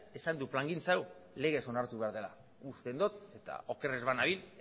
esan du plangintza hau legez onartu behar dela uzten dut eta oker ez banabil